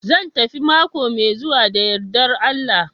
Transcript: Zan tafi mako mai zuwa da yardar Allah